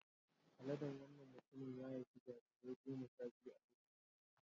Aladen wannan mutumin ya haifi jarirai goma sha biyu a lokaci ɗaya.